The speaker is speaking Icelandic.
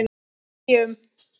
Með hléum.